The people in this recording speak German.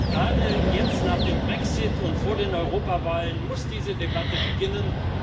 Gerade jetzt nach dem Brexit und vor den Europawahlen muss diese Debatte beginnen.